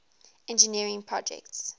engineering projects